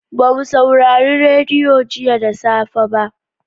Ba mu saurari radiyo jiya da safe ba.